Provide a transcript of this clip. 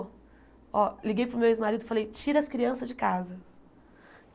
Ó, liguei para o meu ex-marido e falei, tira as crianças de casa.